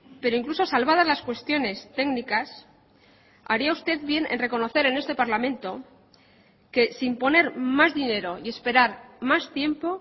pero incluso salvadas las cuestiones técnicas haría usted bien en reconocer en este parlamento que sin poner más dinero y esperar más tiempo